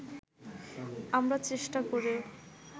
আমরা চেষ্টা করেও